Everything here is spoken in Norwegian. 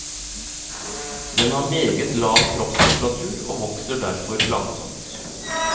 Den har meget lav kroppstemperatur og vokser derfor langsomt.